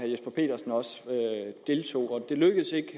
jesper petersen også deltog det lykkedes ikke